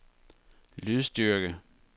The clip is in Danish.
lydstyrke